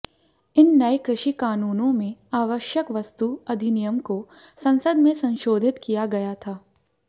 इन नए कृषि कानूनों में आवश्यक वस्तु अधिनियम को संसद में संशोधित किया गया था